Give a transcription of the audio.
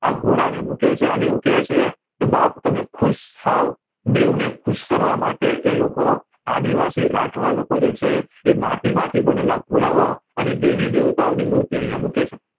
આ ઘોડા ને મૂકે છે અને એવું કે છે બાપ તમે ખુશ થાવ દેવ ને ખુશ કરવા માટે એ લોકો આદી વાસી રાઠવા લોકો જે છે એ માટી માંથી બનેલા ઘોડા ઓ અને દેવી દેવતાઓ ની મૂર્તિ અયા મૂકે છે